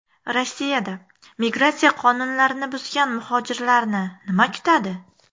Rossiyada migratsiya qonunlarini buzgan muhojirlarni nima kutadi?